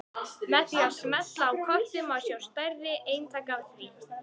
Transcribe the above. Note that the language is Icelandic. Með því að smella á kortið má sjá stærri eintak af því.